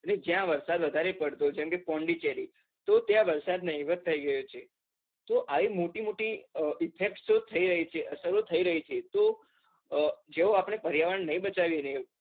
અને જ્યાં વરસાદ વધારે પડતો જેમકે પૌન્ડિચેરી તો ત્યાં વરસાદ નહિવત થઇ ગયોછે, તો આવી મોટી મોટી effect તો થઇ રહી છે, અસરો થઇ રહીછે, જો આપણે પર્યાવરણ નાઈ બચાવીએ